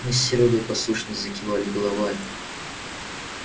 мы с серёгой послушно закивали головами